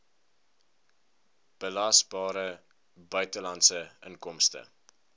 belasbare buitelandse inkomste